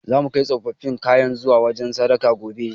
Zamu kai tsofaffin kayan zuwa wajen sadaka, gobe.